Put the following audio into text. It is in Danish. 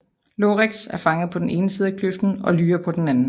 Iorek er fanget på den ene side af kløften og Lyra på den anden